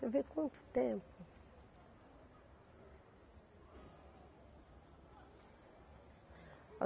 Quer ver quanto tempo?